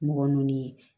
Mɔgɔ ninnu ye